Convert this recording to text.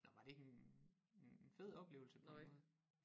Nåh var det ikke en en fed oplevelse på en eller anden måde